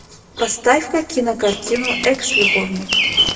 поставь ка кинокартину экс любовник